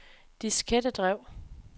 diskettedrev